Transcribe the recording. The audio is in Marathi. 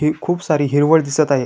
ही खुप सारी हिरवळ दिसत आहे.